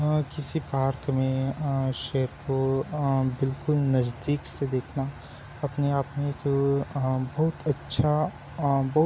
अ किसी पार्क में अ शेर को अ बिलकुल नज़दीक से देखना अपने आप में एक अ बहुत अच्छा अ बहुत --